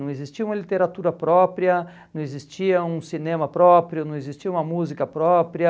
Não existia uma literatura própria, não existia um cinema próprio, não existia uma música própria.